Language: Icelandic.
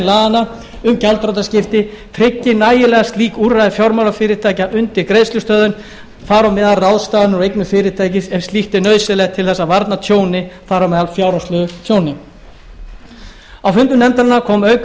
laganna um gjaldþrotaskipti tryggi nægilega slík úrræði fjármálafyrirtækja undir greiðslustöðvun þar á meðal ráðstafanir á eignum fyrirtækis ef slíkt er nauðsynlegt til þess að varna tjóni þar á meðal fjárhagslegu tjóni á fundi nefndarinnar kom auk